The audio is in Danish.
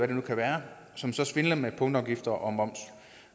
det nu kan være som svindler med punktafgifter og moms